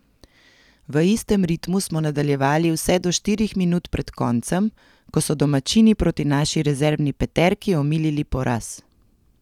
V istem ritmu smo nadaljevali vse do štirih minut pred koncem, ko so domačini proti naši rezervni peterki omilili poraz.